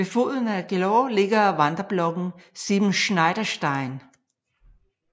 Ved foden af Gellort ligger vandreblokken Siebenschneiderstein